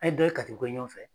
An ni dɔKATBUGU kɛ ɲɔgɔn fɛ.